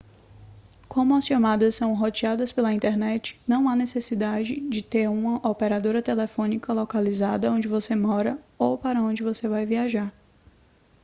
como as chamadas são roteadas pela internet não há necessidade de ter uma operadora telefônica localizada onde você mora ou para onde você vai viajar